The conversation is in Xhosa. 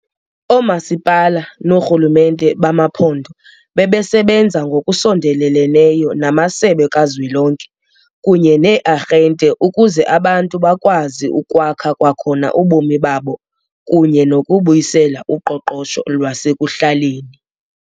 OoMasipala noorhulumente bamaphondo bebesebenza ngokusondeleleneyo namasebe kazwelonke kunye nee-arhente ukuze abantu bakwazi ukwakha kwakhona ubomi babo kunye nokubuyisela uqoqosho lwasekuhlaleni.